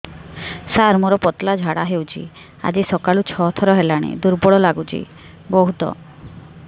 ସାର ମୋର ପତଳା ଝାଡା ହେଉଛି ଆଜି ସକାଳୁ ଛଅ ଥର ହେଲାଣି ଦୁର୍ବଳ ଲାଗୁଚି ବହୁତ